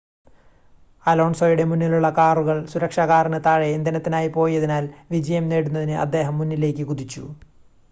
അലോൺസോയുടെ മുന്നിലുള്ള കാറുകൾ സുരക്ഷാ കാറിന് താഴെ ഇന്ധനത്തിനായി പോയതിനാൽ വിജയം നേടുന്നതിന് അദ്ദേഹം മുന്നിലേക്ക് കുതിച്ചു